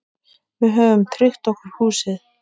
Við höfum tryggt okkur húsið.